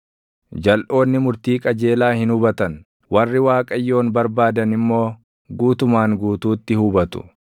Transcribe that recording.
Jalʼoonni murtii qajeelaa hin hubatan; warri Waaqayyoon barbaadan immoo // guutumaan guutuutti hubatu.